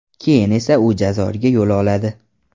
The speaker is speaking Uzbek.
Keyin esa u Jazoirga yo‘l oladi.